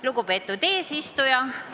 Lugupeetud eesistuja!